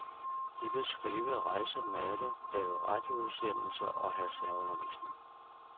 De vil skrive, rejse, male, lave radioudsendelser og have særundervisning.